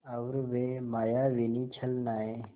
और वे मायाविनी छलनाएँ